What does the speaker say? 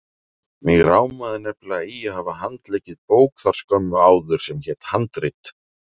Mig rámaði nefnilega í að hafa handleikið bók þar skömmu áður sem hét Handrit.